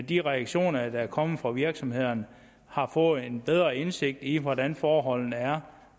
de reaktioner der er kommet fra virksomhederne har fået en bedre indsigt i hvordan forholdene er